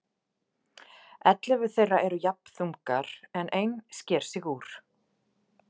Ellefu þeirra eru jafn þungar en ein sker sig úr.